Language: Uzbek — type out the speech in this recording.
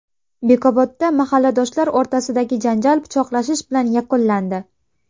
Bekobodda mahalladoshlar o‘rtasidagi janjal pichoqlashish bilan yakunlandi.